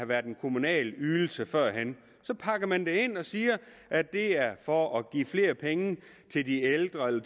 været en kommunal ydelse så pakker man det ind og siger at det er for at give flere penge til de ældre eller